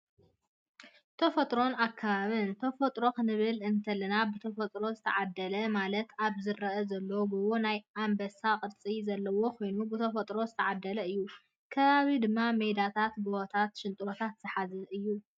ተፈጥሮን ኣከባብን፦ ተፈጥሮን ክንብል እንተለና ብተፈጥሮ ዝተዓደለ ማለት ኣብ ዝረኣ ዘሎ ጎቦ ናይ ኣምበሳ ቅርፂ ዘለዎ ኮይኖ ብተፈጥሮ ዝተዓደለ እዩ፣ ከባቢ ድማ ሜዳታትን፣ ጎቦታት፣ ሽንጥሮታት ዝሓዘ እዩ።